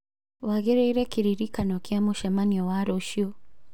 waigĩrĩire kĩririkano gĩa mũcemanio wa rũciũ